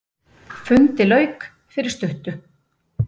Fundi lauk fyrir stuttu.